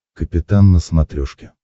капитан на смотрешке